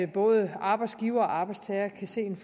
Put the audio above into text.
både arbejdsgivere og arbejdstagere kan se en